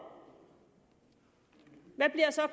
hvad bliver så